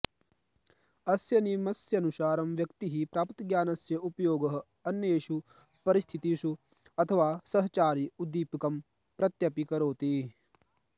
अस्य नियमस्यानुसारं व्यक्तिः प्राप्तज्ञानस्य उपयोगः अन्येषु परिस्थितिषु अथवा सहचारी उद्दीपकं प्रत्यपि करोति